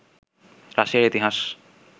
রাশিয়ার ইতিহাস